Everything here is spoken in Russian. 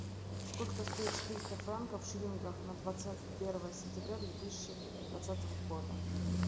сколько стоит четыреста франков в шиллингах на двадцать первое сентября две тысячи двадцатого года